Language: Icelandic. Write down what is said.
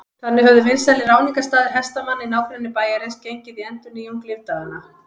Þannig höfðu vinsælir áningarstaðir hestamanna í nágrenni bæjarins gengið í endurnýjung lífdaganna.